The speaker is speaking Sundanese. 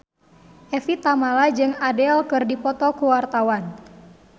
Evie Tamala jeung Adele keur dipoto ku wartawan